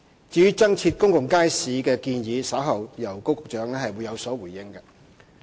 至於增設公眾街市的建議，稍後會由高局長有所回應。